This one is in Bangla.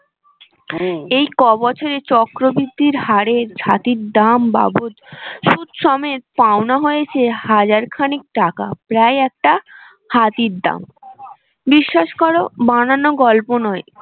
এই ক বছরে চক্র বৃদ্ধির হারে ছাতির দাম বাবদ সুদ সমেত পাওনা হয়েছে হাজার খানেক টাকা প্রায় একটা হাতির দাম বিশ্বাস করো বানানো গল্প নয়